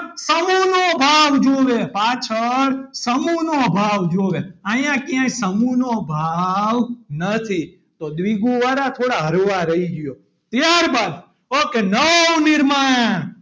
સમૂહનો ભાવ જોવે પાછળ સમૂહ નો ભાવ જોવે અહીંયા કયા સમૂહનો ભાવ નથી તો દ્વિગુ વાળા થોડા હળવા રહ્યો ત્યારબાદ ok નવનિર્માણ,